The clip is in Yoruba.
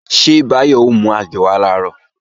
Ṣé Báyọ̀ ó mú àgé wá làárọ̀?